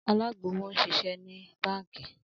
Alagbowo nṣiṣẹ ni banki.